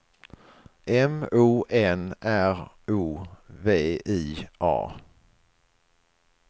M O N R O V I A